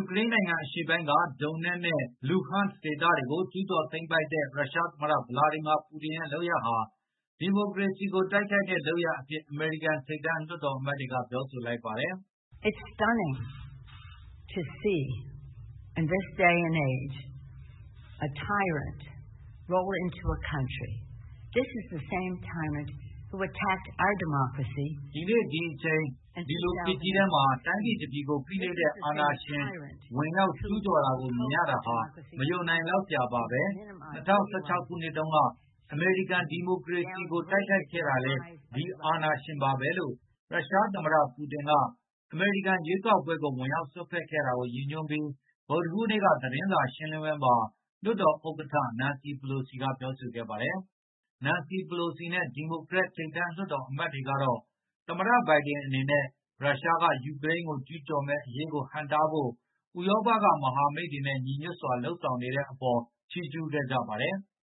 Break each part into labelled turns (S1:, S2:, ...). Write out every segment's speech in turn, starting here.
S1: ူကရိန်းနိုင်ငံအရှေ့ပိုင်းက Donetsk နဲ့ Luhansk ဒေသတွေကို ကျုးကျော်သိမ်းပိုက်တဲ့ ရုရှားသမ္မတ Vladimir Putin ရဲ့ လုပ်ရပ်ဟာ ဒီမိုကရေစီကို တိုက်ခိုက်တဲ့ လုပ်ရပ်အဖြစ် အမေရိကန်ထိပ်တန်းလွှတ် တော်အမတ်တွေက ပြောဆိုလိုက်ပါတယ်။
S2: “ဒီနေ့ဒီအချိန်
S1: ၊ ဒီလိုခေတ်ကြီးထဲမှာ တိုင်းပြည်တပြည်ကို ဖိနှိပ်တဲ့အာဏာရှင် ဝင်ရောက်ကျူးကျော်တာကိုမြင်ရတာဟာ မယုံနိုင်လောက်စရာပါဘဲ၊ ၂ဝ၁၆ ခုနှစ်တုန်းက အမေရိကန်ဒီမိုကရေစီကို တိုက်ခိုက်ခဲ့တာလည်း ဒီအာဏာရှင်ပါဘဲ” လို့ ရုရှားသမတ ပူတင်က၊ အမေရိကန်ရွေးကောက်ပွဲကိုဝင်ရောက်စွက်ဖက်ခဲ့တာကိုရည်ညွန်းပြီ းဗုဒ္ဓဟူးနေ့က သတင်းစာရှင်းလင်းပွဲမှာ လွှတ်တော်ဥက္ကဌ နန်စီပလိုစီ ကပြောဆိုခဲ့တာပါ။ ဒီရက်သတ္တအတွင်းပြလုပ်ခဲ့တဲ့ မြူနစ်လုံခြုံရေး အစည်းအဝေးတက်ရောက်ပြီး ပြန်လာကြတဲ့ နန်စီပလိုစီနဲ့ ဒီမိုကရက်ထိပ်တန်းလွှတ်တော် အမတ်တွေကတော့ သမတဘိုင်ဒင် အနေနဲ့ ရုရှားကယူကရိန်းကို ကျူးကျော်မယ့်အရေးကိုဟန့်တားဖို့ ဥရောပကမဟာမိတ် တွေနဲ့ညီညွတ်စွာလုပ်ဆောင်နေတဲ့အပေါ် ချီးကျူးခဲ့ကြပါတယ်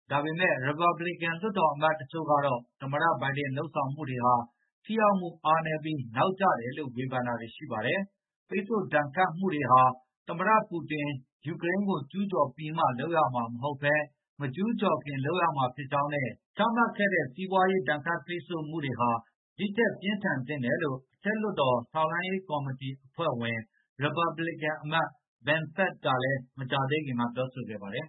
S1: ။ ဒါပေမဲ့ ရီပတ်ဘလစ်ကန် လွှတ်တော်အမတ်တချို့ကတော့ သမ္မတ ဘိုင်ဒင် လုပ်ဆောင်မှုတွေဟာထိရောက်မှုအားနည်းပြီး၊ နောက်ကျတယ်လို့ဝေဘန်တာတွေရှိပါတယ်။ ပိတ်ဆို့ဒါဏ်ခတ်မှုတွေဟာ သမတပူတင်ယူကရိန်းကိုကျူးကျော်ပြီးမှ လုပ်ရမှာ မဟုတ်ဘဲ၊ မကျူးကျော် ခင်လုပ်ရမှာဖြစ်ကြောင်းနဲ့ ချမှတ်ခဲ့တဲစီးပွားရေးဒါဏ်ခတ် ပိတ်ဆိုမှုတွေဟာ ဒီထက်ပြင်းထန်သင့်တယ်လို့ အထက်လွှတ်တော် ထောက်လှမ်းရေးကော် မတီအဖွဲ့ဝင် ရစ်ပတ်ဘလစ်ကန်အမတ် Ben Sasse ကလည်း မကြာသေးခင်ကပဲ ပြောဆိုခဲ့ပါတယ်